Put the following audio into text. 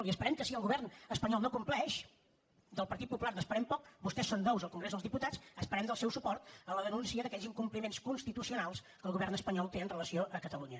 i esperem que si el govern espanyol no compleix del partit popular n’esperem poc vostès són nous al congrés dels diputats esperem el seu suport en la denúncia d’aquells incompliments constitucionals que el govern espanyol té amb relació a catalunya